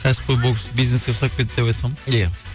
кәсіпқой бокс бизнеске ұқсап кетті деп айтқам ия